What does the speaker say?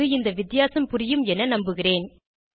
இப்போது இந்த வித்தியாசம் புரியும் என நம்புகிறேன்